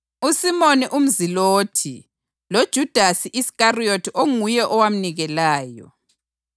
uSimoni umZilothi loJudasi Iskariyothi onguye owamnikelayo.